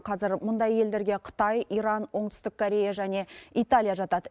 қазір мұндай елдерге қытай иран оңтүстік корея және италия жатады